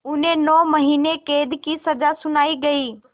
उन्हें नौ महीने क़ैद की सज़ा सुनाई गई